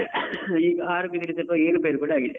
ಈಗ ಆರೋಗ್ಯದಲ್ಲಿ ಸ್ವಲ್ಪ ಏರು ಪೆರು ಕೂಡ ಆಗಿದೆ.